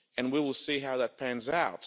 We will see how that pans out.